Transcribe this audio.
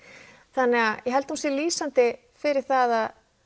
þannig að ég held að hún sé lýsandi fyrir það